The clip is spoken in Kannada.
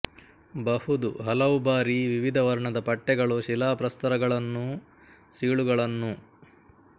ಬಹುದು ಹಲವು ಬಾರಿ ವಿವಿಧ ವರ್ಣದ ಪಟ್ಟೆಗಳು ಶಿಲಾಪ್ರಸ್ತರಗಳನ್ನೂ ಸೀಳುಗಳನ್ನೂ